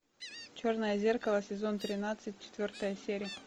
черное зеркало сезон тринадцать четвертая серия